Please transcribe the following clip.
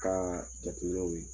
Ka jateminɛw ye.